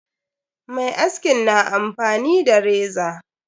Mai askin na amfani da reza.